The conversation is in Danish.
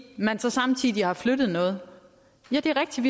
man så samtidig har flyttet noget ja det er rigtigt